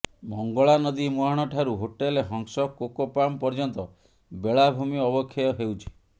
ମଙ୍ଗଳାନଦୀ ମୁହାଣ ଠାରୁ hotel Hans Cocopalm ପର୍ଯ୍ୟନ୍ତ ବେଳାଭୂମି ଅବକ୍ଷୟ ହେଉଛି